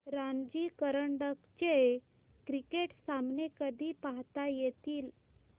रणजी करंडक चे क्रिकेट सामने कधी पाहता येतील